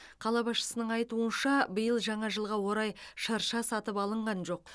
қала басшысының айтуынша биыл жаңа жылға орай шырша сатып алынған жоқ